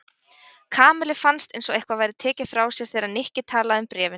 Kamillu fannst eins og eitthvað væri tekið frá sér þegar Nikki talaði um bréfin.